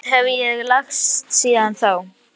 Hversu lágt hef ég lagst síðan þá?